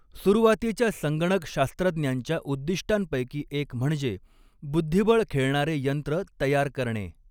सुरुवातीच्या संगणक शास्त्रज्ञांच्या उद्दिष्टांपैकी एक म्हणजे बुद्धिबळ खेळणारे यंत्र तयार करणे.